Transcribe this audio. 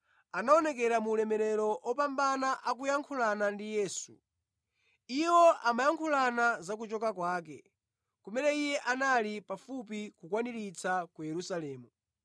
anaonekera mu ulemerero opambana akuyankhulana ndi Yesu. Iwo amayankhulana za kuchoka kwake, kumene Iye anali pafupi kukakwaniritsa ku Yerusalemu.